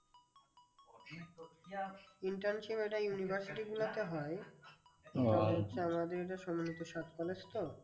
Internship এটা university গুলোতে হয়। আমাদের এটা সম্মিলিত সাত college তো?